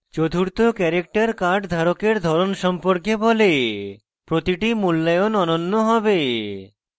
চতুর্থ character card ধারকের ধরণ সম্পর্কে বলে প্রতিটি মূল্যায়ন অনন্য হয়